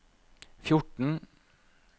fjorten